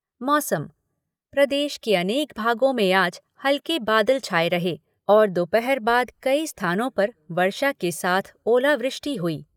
मौसम प्रदेश के अनेक भागों में आज हल्के बादल छाए रहे और दोपहर बाद कई स्थानों पर वर्षा के साथ ओलावृष्टि हुई।